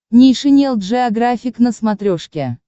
нейшенел джеографик на смотрешке